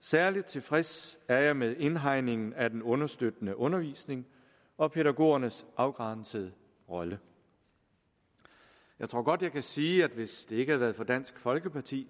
særlig tilfreds er jeg med indhegningen af den understøttende undervisning og pædagogernes afgrænsede rolle jeg tror godt jeg kan sige at hvis det ikke havde været for dansk folkeparti